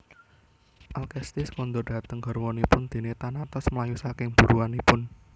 Alkestis kondur dhateng garwanipun déné Thanatos mlayu saking buruanipun